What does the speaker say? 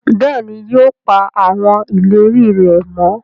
béèni yóò pa awọn ìlérí rẹ mọ.